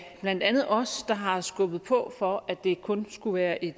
blandt andet os der har skubbet på for at det kun skulle være en